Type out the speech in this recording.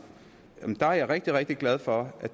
er jeg rigtig rigtig glad for